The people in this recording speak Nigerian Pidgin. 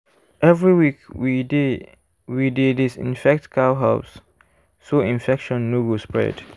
every week we dey we dey disinfect cow house so infection no go spread.